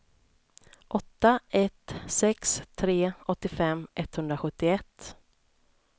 åtta ett sex tre åttiofem etthundrasjuttioett